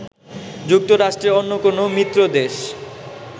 যুক্তরাষ্ট্রের অন্য কোনো মিত্র দেশ